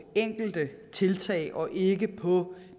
enkelte tiltag og ikke på